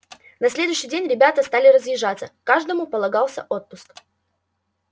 на следующий день ребята стали разъезжаться каждому полагался отпуск